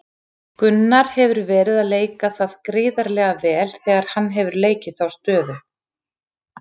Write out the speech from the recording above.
Gunnar hefur verið að leika það gríðarlega vel þegar hann hefur leikið þá stöðu.